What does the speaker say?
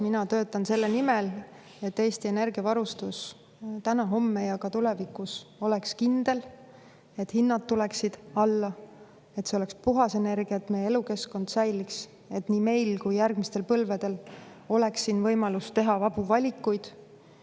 Mina töötan selle nimel, et Eesti energiavarustus täna, homme ja ka tulevikus oleks kindel; et hinnad tuleksid alla; et see oleks puhas energia, et meie elukeskkond säiliks, et nii meil kui järgmistel põlvedel oleks siin võimalus teha vabu valikuid.